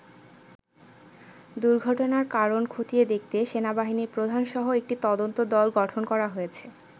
দুর্ঘটনার কারণ ক্ষতিয়ে দেখতে সেনাবাহিনীর প্রধান সহ একটি তদন্ত দল গঠন করা হয়েছে।